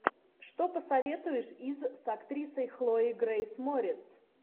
что посоветуешь из с актрисой хлоей грейс морец